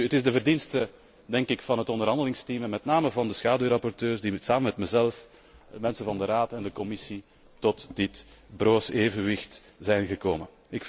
Het is de verdienste van het onderhandelingsteam en met name van de schaduwrapporteurs die, samen met mezelf, mensen van de Raad en de Commissie, tot dit broos evenwicht zijn gekomen.